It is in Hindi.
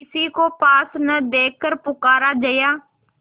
किसी को पास न देखकर पुकारा जया